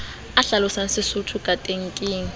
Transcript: a hlalosang sesotho kateng ke